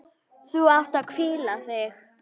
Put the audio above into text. Þú átt að hvíla þig.